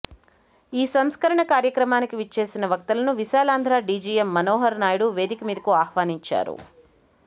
ఈ సంస్మరణ కార్యక్రమానికి విచ్చేసిన వక్తలను విశాలాంధ్ర డీజీఎం మనోహర్నాయుడు వేదిక మీదకు ఆహ్వనించారు